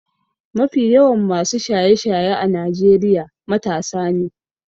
Mafi yawan masu shaye-shaye a Najeriya matasa ne.